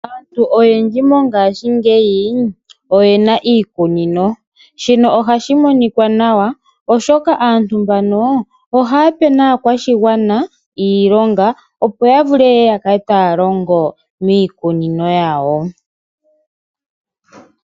Aantu oyendji mongashi ngeyi oyena iikunino shino ohashi monikwa nawa oshoka aantu mbano ohaya pe nakwashingwana iilonga opo yavule yeye yakale taya longo miikunino yawo.